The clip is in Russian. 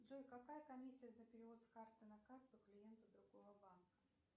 джой какая комиссия за перевод с карты на карту клиенту другого банка